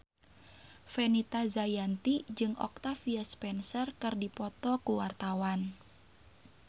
Fenita Jayanti jeung Octavia Spencer keur dipoto ku wartawan